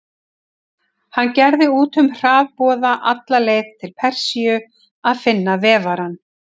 Hann gerði út hraðboða alla leið til Persíu að finna vefarann.